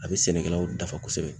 A bɛ sɛnɛkɛlaw dafa kosɛbɛ.